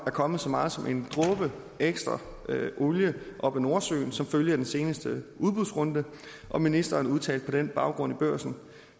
kommet så meget som en dråbe ekstra olie op af nordsøen som følge af den seneste udbudsrunde og ministeren udtalte på den baggrund i børsen i